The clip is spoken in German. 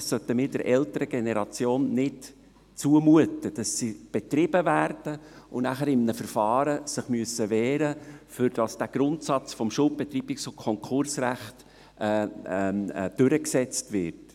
Wir sollten der älteren Generation nicht zumuten, dass sie betrieben wird und sich anschliessend in einem Verfahren wehren muss, nur damit dieser Grundsatz des Schuldbetreibungs- und Konkursrechts durchgesetzt wird.